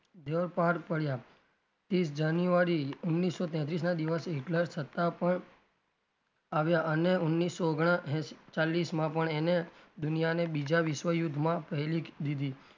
ધ્યેયો પાર પડ્યા ત્રીશ જાન્યુઆરી ઓગણીસો તેત્રીસ ના દિવશે હિટલર સત્તા પર આવ્યાં. અને ઓગણીસો ઓગણચાલીસ માં પણ એને દુનિયાને બીજા વિશ્વયુદ્ધમાં પહેલી દીધી.